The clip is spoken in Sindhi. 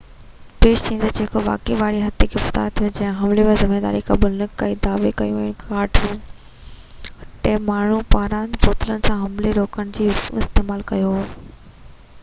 پيش ٿيندڙ، جيڪو واقعي واري حد تي گرفتار ٿيو، جنهن حملي جي ذميواري قبول نہ ڪئي ۽ دعويٰ ڪيو تہ هن ڪاٺ جو ڏنڊو ٽيهہ ماڻهن پاران بوتلن سان حملي کي روڪڻ لاءِ استعمال ڪيو هو